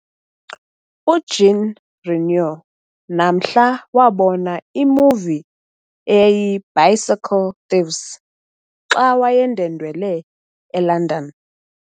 UJean Renoir namhla wabona imovie eyayiy i"Bicycle Thieves" xa wayendwendwele eLondon.